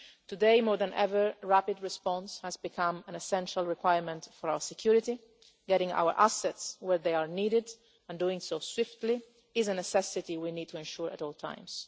Today more than ever, rapid response has become an essential requirement for our security, getting our assets where they are needed, and doing so swiftly, is a necessity we need to ensure at all times.